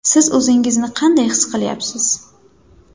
Siz o‘zingizni qanday his qilyapsiz?